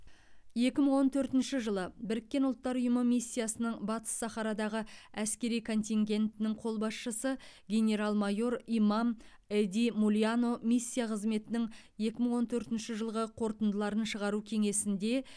екі мың он төртінші жылы біріккен ұлттар ұйымы миссиясының батыс сахарадағы әскери контингентінің қолбасшысы генерал майор имам эди мулионо миссия қызметінің екі мың он төртінші жылғы қорытындыларын шығару кеңесінде